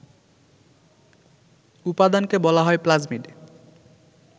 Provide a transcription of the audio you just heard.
উপাদানকে বলা হয় প্লাজমিড